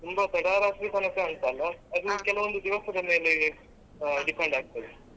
ತುಂಬಾ ತಡ ರಾತ್ರಿ ತನಕ ಅಂತಲ್ಲ ಅದು ಕೆಲವೊಂದು ದಿವಸದ ಮೇಲೆ depend ಆಗ್ತದೆ.